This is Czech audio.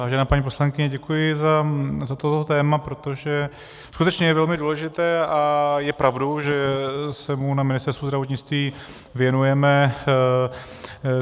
Vážená paní poslankyně, děkuji za toto téma, protože skutečně je velmi důležité a je pravdou, že se mu na Ministerstvu zdravotnictví věnujeme.